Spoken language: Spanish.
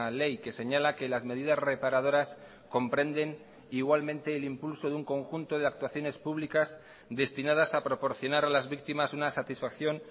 ley que señala que las medidas reparadoras comprenden igualmente el impulso de un conjunto de actuaciones públicas destinadas a proporcionar a las víctimas una satisfacción